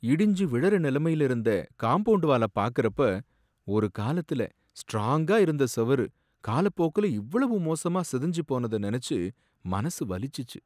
இடிஞ்சி விழுற நலமையில இருந்த காம்பவுண்ட்வால பாக்கறப்ப, ஒரு காலத்துல ஸ்ட்ராங்கா இருந்த செவுரு காலப்போக்குல இவ்வளவு மோசமா சிதைஞ்சு போனத நெனச்சு மனசு வலிச்சிச்சு.